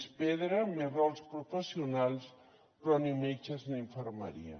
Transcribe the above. més pedra més rols professionals però ni metges ni infermeria